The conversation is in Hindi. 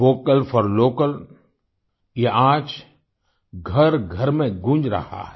वोकल फोर लोकल ये आज घरघर में गूँज रहा है